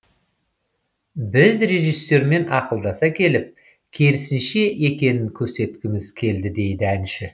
біз режиссермен ақылдаса келе керісінше екенін көрсеткіміз келді дейді әнші